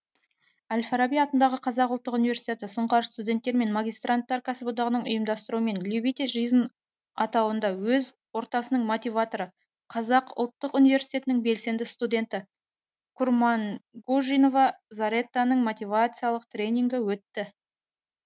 әл фараби атындағы қазақ ұлттық университеті сұңқар студенттер мен магистранттар кәсіподағының ұйымдастыруымен любите жизнь атауында өз ортасының мотиваторы қазақ ұлттық университетінің белсенді студенті курмангужинова заретаның мотивациялық тренингі өтті